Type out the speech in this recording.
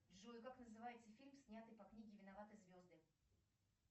джой как называется фильм снятый по книге виноваты звезды